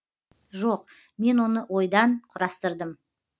жоқ мен оны ойдан құрастырдым